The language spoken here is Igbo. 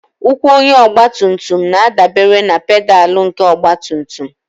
Ụkwụ onye ọgbatumtum na-adabere na pedalụ nke ọgbatumtum